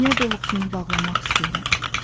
Niyə doluqsounu bağlamaq istəyirəm?